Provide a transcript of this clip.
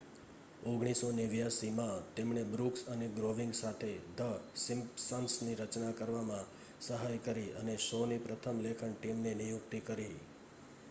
1989માં તેમણે બ્રૂક્સ અને ગ્રોનિંગ સાથે ધ સિમ્પ્સન્સની રચના કરવામાં સહાય કરી અને શોની પ્રથમ લેખન ટીમની નિયુક્તિ કરી